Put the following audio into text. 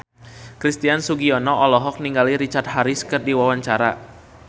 Christian Sugiono olohok ningali Richard Harris keur diwawancara